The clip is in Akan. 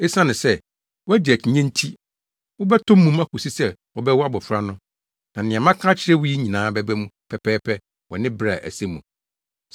Esiane sɛ woagye akyinnye nti, wobɛtɔ mum akosi sɛ wɔbɛwo abofra no. Na nea maka akyerɛ wo yi nyinaa bɛba mu pɛpɛɛpɛ wɔ ne bere a ɛsɛ mu.”